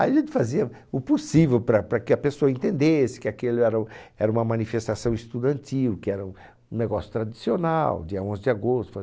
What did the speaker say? Aí a gente fazia o possível para, para que a pessoa entendesse que aquilo era era uma manifestação estudantil, que era um negócio tradicional, dia onze de agosto.